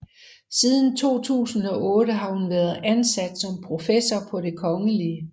Siden 2008 har hun været ansat som professor på det Kgl